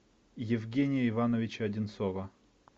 евгения ивановича одинцова